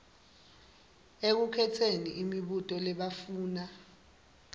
ekukhetseni imibuto labafuna